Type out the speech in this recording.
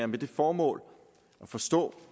med det formål at forstå